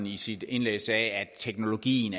i sit indlæg at teknologien